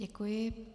Děkuji.